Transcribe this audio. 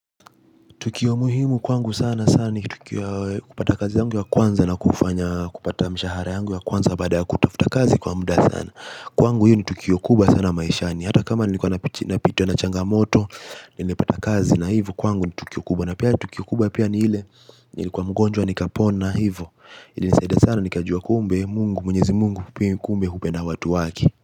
Tukio muhimu kwangu sana sana ni tukio kupata kazi yangu ya kwanza na kufanya kupata mshahara yangu ya kwanza baada ya kutafuta kazi kwa muda sana. Kwangu hiyo ni tukio kubwa sana maishani. Hata kama niko napita na changamoto nimepata kazi na hivo kwangu ni tukio kubwa. Na pia tukio kubwa pia ni ile nilikuwa mgonjwa nikapona hivo. Ilinisaida sana nikajua kumbe Mungu mwenyezi Mungu pia yeye kumbe hupenda watu wake.